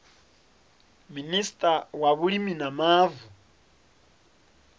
minista wa vhulimi na mavu